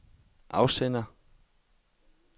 afsender